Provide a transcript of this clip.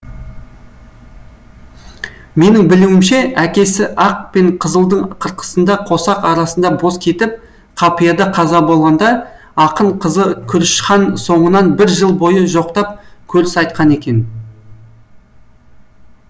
менің білуімше әкесі ақ пен қызылдың қырқысында қосақ арасында бос кетіп қапияда қаза болғанда ақын қызы күрішхан соңынан бір жыл бойы жоқтап көріс айтқан екен